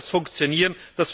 Wie soll das funktionieren?